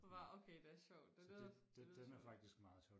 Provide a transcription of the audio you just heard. okay det er sjovt det lyder det lyder sjovt